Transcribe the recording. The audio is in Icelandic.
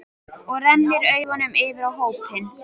Og renndi augunum yfir á hópinn.